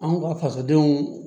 Anw ka fasodenw